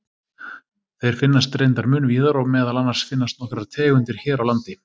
Þeir finnast reyndar mun víðar og meðal annars finnast nokkrar tegundir hér á landi.